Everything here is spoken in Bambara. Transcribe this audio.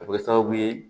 A bɛ kɛ sababu ye